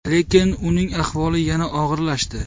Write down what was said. Lekin uning ahvoli yana og‘irlashdi.